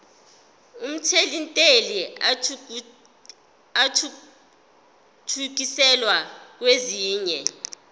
omthelintela athuthukiselwa kwesinye